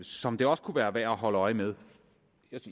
som det også kunne være værd at holde øje med